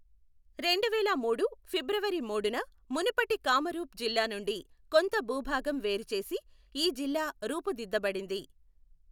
రెండువేల మూడు ఫిబ్రవరి మూడున మునుపటి కామరూప్ జిల్లా నుండి కొంత భూభాగం వేరు చేసి ఈ జిల్లా రూపుదిద్దబడింది.